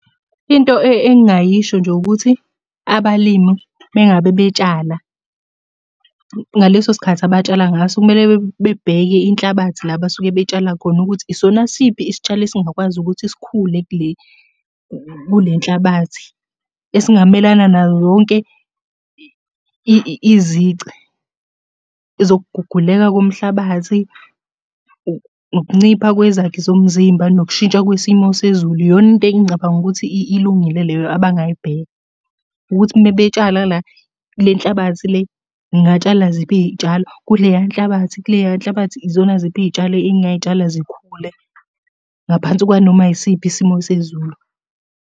Into engingayisho nje ukuthi abalimi uma ngabe betshala ngaleso sikhathi abatshala ngaso, kumele bebheke inhlabathi la abasuke betshala khona ukuthi isona siphi isitshalo esingakwazi ukuthi sikhule kule nhlabathi. Esingamelana nayo yonke izici. Ezokuguguleka komhlabathi, ukuncipha kwezakhi zomzimba, nokushintsha kwesimo sezulu. Iyona into engicabanga ukuthi ilungile leyo abangayibheka, ukuthi uma betshala la kule nhlabathi le, ngingatshala ziphi iy'tshalo. Kuleya nhlabathi, kuleya nhlabathi izona ziphi iy'tshalo engingay'tshala zikhule ngaphansi kwanoma yisiphi isimo sezulu.